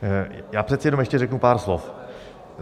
Já přece jenom ještě řeknu pár slov.